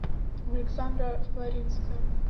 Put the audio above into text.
александра флоринская